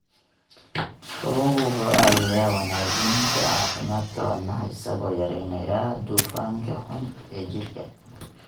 Kalluunku wuxuu caawiyaa wanaajinta caafimaadka wadnaha isagoo yareynaya dufanka xun ee jirka.